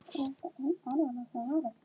Þú átt það svo skilið!